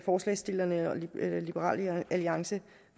forslagsstillerne og liberal alliance